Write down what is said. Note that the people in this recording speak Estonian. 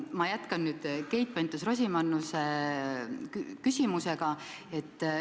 Ma jätkan Keit Pentus-Rosimannuse küsimust.